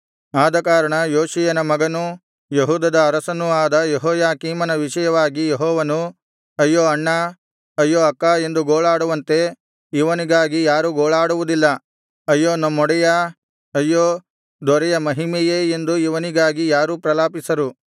ಆದಕಾರಣ ಯೋಷೀಯನ ಮಗನೂ ಯೆಹೂದದ ಅರಸನೂ ಆದ ಯೆಹೋಯಾಕೀಮನ ವಿಷಯವಾಗಿ ಯೆಹೋವನು ಅಯ್ಯೋ ಅಣ್ಣಾ ಅಯ್ಯೋ ಅಕ್ಕಾ ಎಂದು ಗೋಳಾಡುವಂತೆ ಇವನಿಗಾಗಿ ಯಾರೂ ಗೋಳಾಡುವುದಿಲ್ಲ ಅಯ್ಯೋ ನಮ್ಮೊಡೆಯಾ ಅಯ್ಯೋ ದೊರೆಯ ಮಹಿಮೆಯೇ ಎಂದು ಇವನಿಗಾಗಿ ಯಾರೂ ಪ್ರಲಾಪಿಸರು